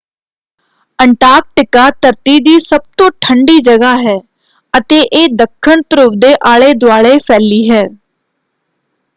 Antarctica ਧਰਤੀ ਦੀ ਸਭ ਤੋਂ ਠੰਡੀ ਜਗ੍ਹਾ ਹੈ ਅਤੇ ਇਹ ਦੱਖਣ ਧਰੁਵ ਦੇ ਆਲੇ-ਦੁਆਲੇ ਫੈਲੀ ਹੈ।